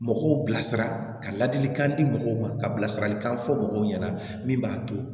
Mɔgɔw bilasira ka ladilikan di mɔgɔw ma ka bilasiralikan fɔ mɔgɔw ɲɛna min b'a to